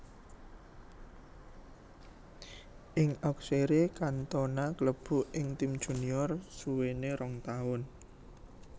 Ing Auxerre Cantona klebu ing tim junior suwene rong taun